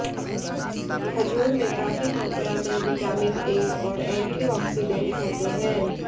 खजूर में काफी मात्रा में विटामिन ए और एंटीऑक्सीडेंट होते हैं